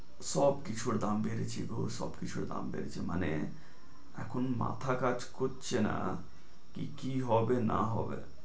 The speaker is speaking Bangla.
সব কিছুর দাম বেড়েছে গো সব কিছুর দাম বেড়েছে, মানে এখন মাথা কাজ করছে না কি কি হবে না হবে।